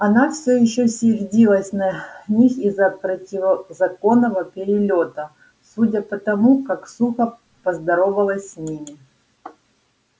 она всё ещё сердилась на них из-за противозаконного перелёта судя по тому как сухо поздоровалась с ними